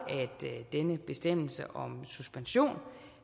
at denne bestemmelse om suspension